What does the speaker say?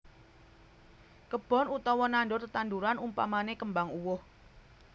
Kebon utawa nandur tetandhuran umpamane kembang uwoh